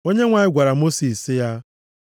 Onyenwe anyị gwara Mosis sị ya,